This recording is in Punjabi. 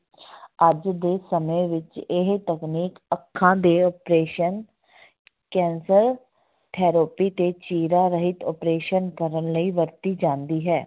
ਅੱਜ ਦੇ ਸਮੇਂ ਵਿੱਚ ਇਹ ਤਕਨੀਕ ਅੱਖਾਂ ਦੇ operation ਕੈਂਸਰ, ਥੈਰੋਪੀ ਤੇ ਚੀਰਾ ਰਹਿਤ opreation ਕਰਨ ਲਈ ਵਰਤੀ ਜਾਂਦੀ ਹੈ।